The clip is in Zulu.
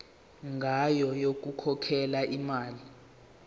ngayo yokukhokhela imali